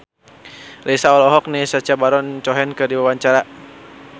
Raisa olohok ningali Sacha Baron Cohen keur diwawancara